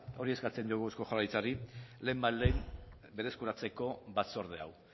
hori eskatzen diogu jaurlaritzari lehenbailehen berreskuratzeko batzorde hau